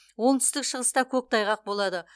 оңтүстік шығыста көктайғақ болады